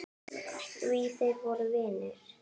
Því þeir voru vinir.